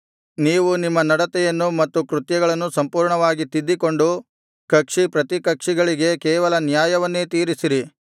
ನೀವು ನಿಮ್ಮ ನಡತೆಯನ್ನು ಮತ್ತು ಕೃತ್ಯಗಳನ್ನು ಸಂಪೂರ್ಣವಾಗಿ ತಿದ್ದಿಕೊಂಡು ಕಕ್ಷಿ ಪ್ರತಿಕಕ್ಷಿಗಳಿಗೆ ಕೇವಲ ನ್ಯಾಯವನ್ನೇ ತೀರಿಸಿರಿ